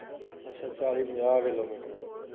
ਅੱਛਾ ਅੱਛਾ ਚਾਲੀ ਪੰਜਾਹ ਕਿਲੋਮੀਟਰ